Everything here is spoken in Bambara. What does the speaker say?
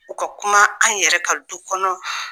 U ka kuma an yɛrɛ ka du kɔnɔ.